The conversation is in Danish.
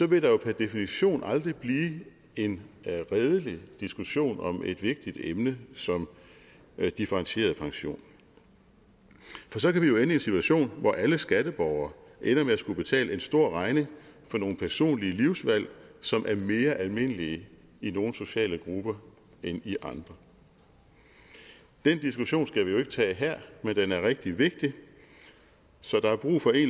vil der jo per definition aldrig blive en redelig diskussion om et vigtigt emne som differentieret pension for så kan vi jo ende i en situation hvor alle skatteborgere ender med at skulle betale en stor regning for nogle personlige livsvalg som er mere almindelige i nogle sociale grupper end i andre den diskussion skal vi jo ikke tage her men den er rigtig vigtig så